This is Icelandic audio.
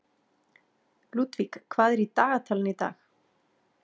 Ludvig, hvað er í dagatalinu í dag?